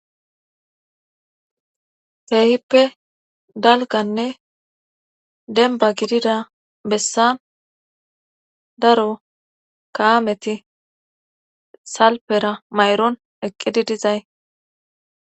Keehippe dalganne denba gidida bessan daro kaameti salpera mayron eqqidi dizay